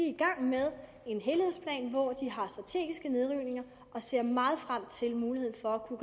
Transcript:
i gang med en helhedsplan hvor de har strategiske nedrivninger og ser meget frem til muligheden for at kunne